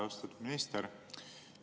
Austatud minister!